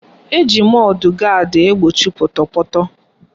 Eji mọdụ gaadị egbochi pọtọpọtọ